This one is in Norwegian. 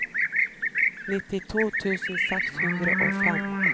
nittito tusen seks hundre og fem